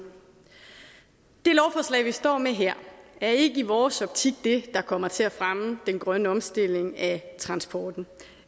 det lovforslag vi står med her er ikke i vores optik det der kommer til at fremme den grønne omstilling af transporten